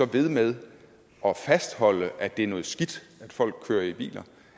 ved med at fastholde at det er noget skidt at folk kører i biler